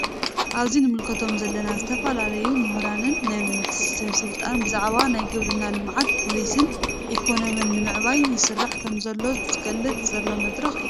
አብዚ እንምልከቶ ዘለና ዝተፈላለዩ ምሁራንን ናይ መንግስቲ ሰበ ስልጣን ብዛዕባ ናይ ግብርና ልምዓትን ፖሊስን ኢኮኖሚ ንምዕባይ ይስራሕ ከም ዘሎ ዝግለፀሉ ዘሎ መድረክ እዩ ።